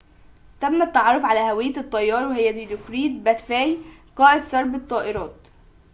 تم التعرف على هوية الطيار وهي ديلوكريت باتافي قائد سرب الطائرات